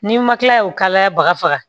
N'i ma kila o kalaya bagafa